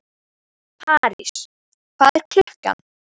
París, hvað er klukkan?